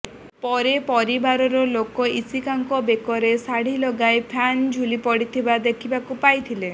ପରେ ପରିବାର ଲୋକ ଇଶିକାଙ୍କୁ ବେକରେ ଶାଢ଼ୀ ଲଗାଇ ଫ୍ୟାନ୍ରେ ଝୁଲି ପଡ଼ିଥିବା ଦେଖିବାକୁ ପାଇଥିଲେ